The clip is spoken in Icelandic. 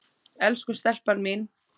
Elsku stelpan mín.